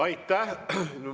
Aitäh!